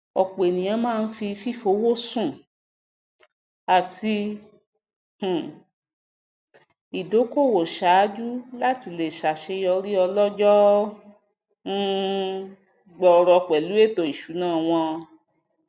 ọpọ ènìyàn máa ń fi fífowóṣùn àti um ìdókòwò ṣáájú láti le ṣàṣeyọrí ọlójóó um gbooro pẹlú ètò ìsúná wọn